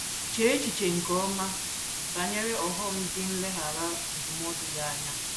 Chee echiche nke ọma banyere ọghọm dị n’ileghara ndụmọdụ ya anya.